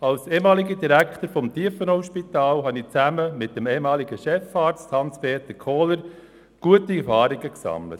Als ehemaliger Direktor des Tiefenauspitals habe ich zusammen mit dem ehemaligen Chefarzt, Hans-Peter Kohler, gute Erfahrungen gemacht.